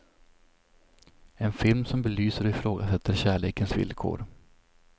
En film som belyser och ifrågasätter kärlekens villkor.